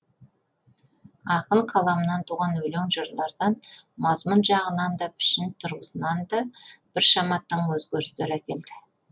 ақын қаламынан туған өлең жырлардан мазмұн жағынан да пішін тұрғысында да біршама тың өзгерістер әкелді